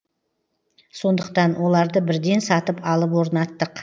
сондықтан оларды бірден сатып алып орнаттық